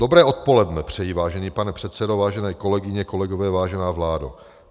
"Dobré odpoledne přeji, vážený pane předsedo, vážené kolegyně, kolegové, vážená vládo.